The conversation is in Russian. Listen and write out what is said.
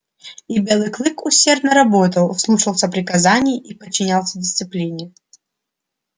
и белый клык усердно работал слушался приказаний и подчинялся дисциплине